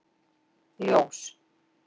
Ljós